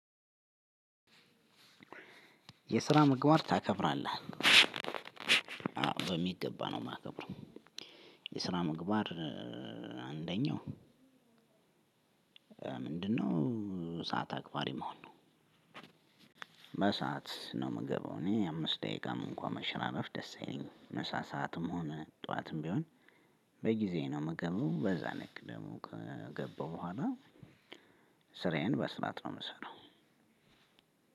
የስራ ምግባር ታከብራለህ አዎ በሚገባ ነው የማከብረው። የስራ ምግባር አንደኛው ምንድነው? ሰዓት አክባሪ መሆን ነው። በሰአት ነው የምገባው እኔ አምስት ደቂቃም እንኳን መሽራረፍ ደስ የለኝም። ምሳ ሰዓትም ሆነ ጠዋትም ቢሆን በጊዜ ነው ምገባው በዛ ነክ ደግሞ ከገባሁ በኋላ። ስራዬን በስርዓት ነው የምሰራው።